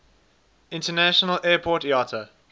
international airport iata